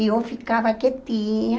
E eu ficava quietinha.